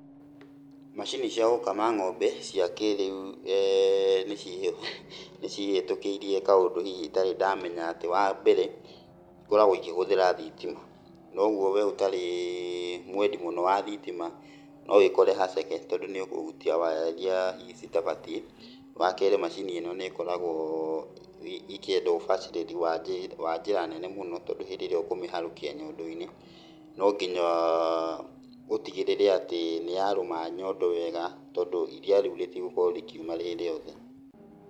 Macini cia gũkama ng'ombe cia kĩrĩu nĩ, nĩcihĩtũkĩirie kaũndũ hihi itarĩ ndamenya atĩ, wambere ikoragwo ikĩhũthĩra thitima, nogwo wee ũtarĩ mwendi mũno wa thitima no wĩkore haceke tondũ nĩũkũhutia waya iria hihi citabatiĩ. Wakerĩ macini ino nĩ ĩkoragwo ĩkĩenda ũbacĩrĩri wa wa njĩra nene mũno tondũ hĩndĩ ĩrĩa ũkũmĩharũkia nyondo-inĩ, nonginya ũtigĩrĩre atĩ nĩyarũma nyondo wega, tondũ iria rĩu rĩtigũkorwo rĩkiuma rĩ rĩothe.